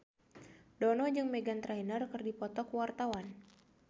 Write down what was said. Dono jeung Meghan Trainor keur dipoto ku wartawan